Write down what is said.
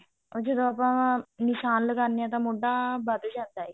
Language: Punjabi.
ਤੇ ਜਦੋਂ ਆਪਾਂ ਨਿਸ਼ਾਨ ਲਗਾਉਂਦੇ ਹਾਂ ਤਾਂ ਮੋਢਾ ਵੱਧ ਜਾਂਦਾ